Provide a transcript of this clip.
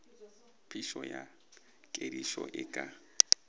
phišo ya kedišo e ka